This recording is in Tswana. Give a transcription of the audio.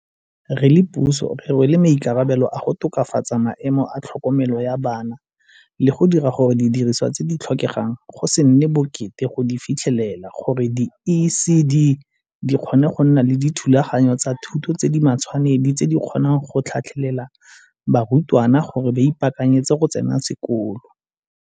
Re le puso re rwele maikarabelo a go tokafatsa maemo a tlhokomelo ya bana le go dira gore didirisiwa tse di tlhokegang go se nne bokete go di fitlhelela gore di-ECD dikgone go nna le dithulaganyo tsa thuto tse di matshwanedi tse di kgonang go tlhatlhelela barutwana gore ba ipaakanyetse go tsena sekolo.